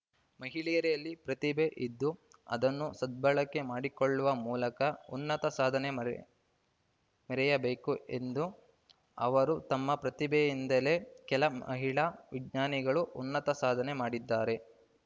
ಮಹಿಳೆಯರಲ್ಲಿ ಪ್ರತಿಭೆ ಇದ್ದು ಅದನ್ನು ಸದ್ಭಳಕೆ ಮಾಡಿಕೊಳ್ಳುವ ಮೂಲಕ ಉನ್ನತ ಸಾಧನೆ ಮೆರೆ ಮೆರೆಯಬೇಕು ಎಂದು ಅವರು ತಮ್ಮ ಪ್ರತಿಭೆಯಿಂದಲೇ ಕೆಲ ಮಹಿಳಾ ವಿಜ್ಞಾನಿಗಳು ಉನ್ನತ ಸಾಧನೆ ಮಾಡಿದ್ದಾರೆ